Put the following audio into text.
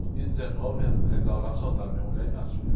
O dia dezenove entraram lá e assaltaram minha mulher e minhas filhas.